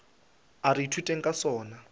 a re ithuteng ka sona